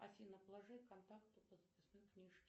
афина положи контакту по записной книжке